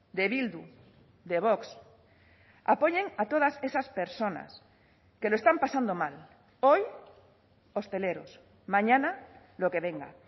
de bildu de vox apoyen a todas esas personas que lo están pasando mal hoy hosteleros mañana lo que venga